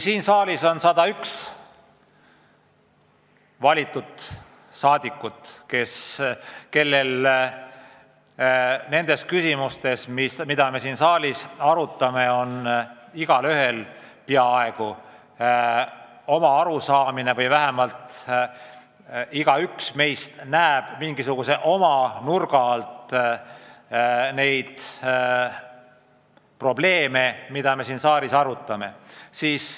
Siin saalis on 101 rahva valitud inimest, kellel nendes küsimustes, mida me siin saalis arutame, on peaaegu igaühel oma arusaamine, igaüks meist näeb mingisuguseid probleeme oma nurga alt.